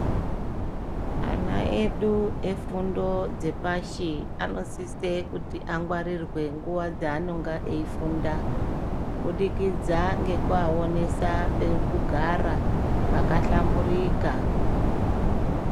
Ana edu efundo dzepashi anosise kuti angwarirwe panguwa dzeanonga eifunda, kubudikidza ngekuvaonesa pekugara pakahlamburika